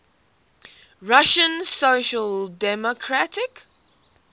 russian social democratic